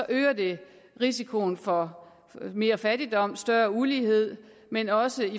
øger det risikoen for mere fattigdom større ulighed men også